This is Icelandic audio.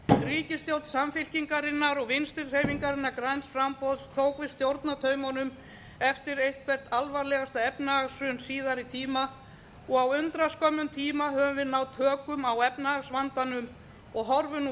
ríkisstjórn samfylkingarinnar og vinstri hreyfingarinnar græns framboðs tók við stjórnartaumunum eftir eitthvert alvarlegasta efnahagshrun síðari tíma og á undraskömmum tíma höfum við náð tökum á efnahagsvandanum og horfum nú